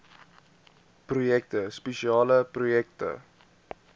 projekte spesiale projekte